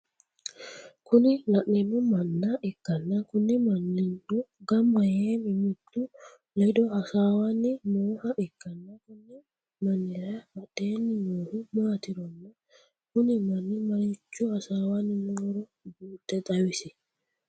Kuni laneemmohu manna ikkanna Kuni mannino gambba yee mimmitu ledo hasaawanni nooha ikkanna Konni mannira badheenni noohu maaturonna Kuni manni marchcho hasaawanni nooro buuxxe xawisie?